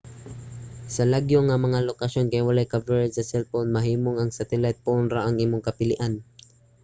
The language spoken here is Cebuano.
sa lagyo nga mga lokasyon kay walay coverage sa cell phone mahimong ang satellite phone ra ang imong kapilian